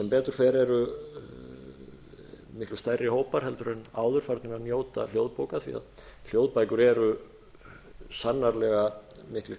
betur fer eru miklu stærri hópar heldur en áður farnir að njóta hljóðbóka því að hljóðbækur eru sannarlega miklir